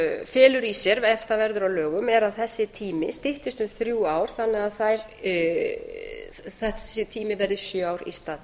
felur í sér ef það verður að lögum er að þessi tími styttist um þrjú ár þannig að þessi tími verði sjö ár í stað